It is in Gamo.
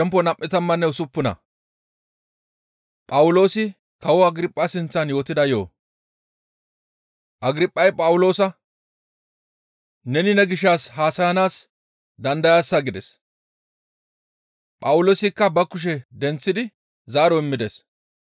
Agirphay Phawuloosa, «Neni ne gishshas haasayanaas dandayaasa» gides; Phawuloosikka ba kushe denththidi zaaro immides.